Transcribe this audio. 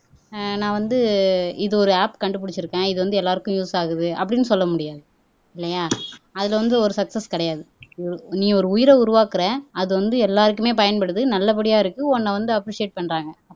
ஆஹ் நான் வந்து இது ஒரு ஆப் கண்டுபிடிச்சிருக்கேன் இது வந்து எல்லாருக்கும் யூஸ் ஆகுது அப்படீன்னு சொல்ல முடியாது இல்லையா அதுல வந்து ஒரு சக்ஸஸ் கிடையாது உ நீ ஒரு உயிரை உருவாக்குற அது வந்து எல்லாருக்குமே பயன்படுது நல்லபடியா இருக்கு உன்னை வந்து அப்ரிஸியேட் பண்றாங்க